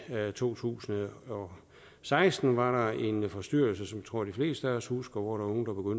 to tusind og seksten var der en forstyrrelse som jeg tror de fleste af os husker hvor